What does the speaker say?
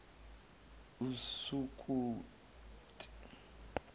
esukuti